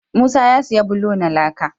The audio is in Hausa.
Musa ya siya bulo na laka